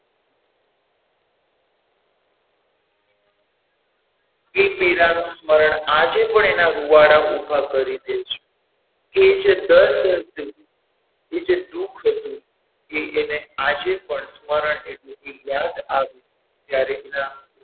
એ પીડા નુ સ્મરણ આજે પણ એના રૂવાડા ઉભા કરી દે છે એ જે દર્દ હતું એ જે દુઃખ હતું એ એને આજે પણ સ્મરણ એટલે કે યાદ આવ્યું જ્યારે એના,